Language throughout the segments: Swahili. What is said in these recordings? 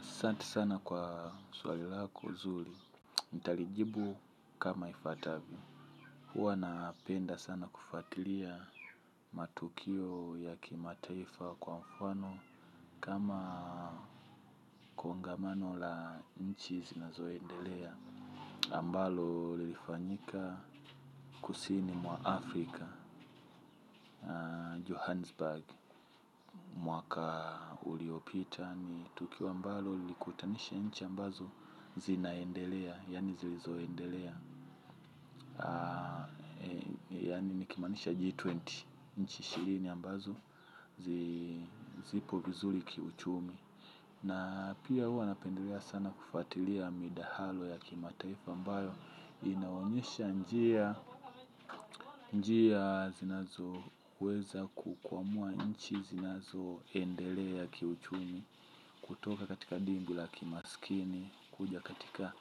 Sante sana kwa swali lako zuri. Nitalijibu kama ifuatavyo. Huwa napenda sana kufuatilia matukio ya kimataifa kwa mfano kama kongamano la inchi zinazo endelea. Ambalo lilifanyika kusini mwa Afrika, Johannesburg. Mwaka uliopita ni tukio ambalo lilikutanisha nchi ambazo zinaendelea, yani zilizoendelea, yani nikimaanisha G20 nchi ishirini ambazo zipo vizuli kiuchumi. Na pia hua napendelea sana kufuatilia midahalo ya kimatarifa ambalo inaonyesha njia zinazo weza kukwamua nchi zinazo endelea ya kiuchumi kutoka katika dingu la kimaskini kuja katika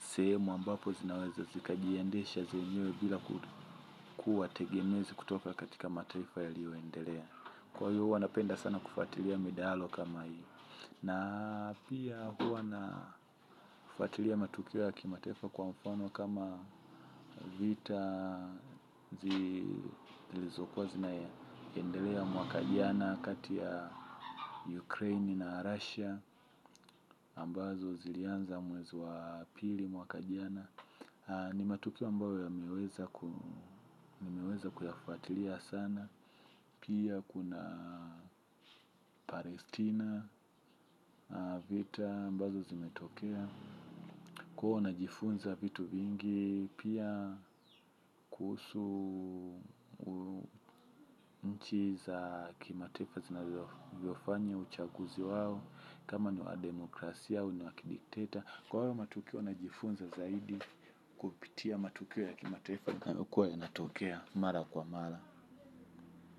sehemu ambapo zinaweza zikajiendesha zenyewe bila kuwa tegemezi kutoka katika mataifa yalio endelea. Kwa hivo huwa napendelea sana kufuatilia midahalo kama hio. Na pia huwa na fuatilia matukio ya kimataifa kwa mfano kama vita zilizokuwa zinaendelea mwaka jana katia Ukraine na Russia ambazo zilianza mwezi wa pili mwaka jana. Ni matukio ambayo nimeweza kuyafuatilia sana. Pia kuna Palestina, vita ambazo zimetokea. Huwa najifunza vitu vingi pia kuhusu nchi za kimataifa zinavyofanya uchaguzi wawo. Kama ni wa demokrasia, au ni wa kidikteta. Kwa hayo matukio najifunza zaidi kupitia matukio ya kimataifa zinakuwa zinatokea, mara kwa mara.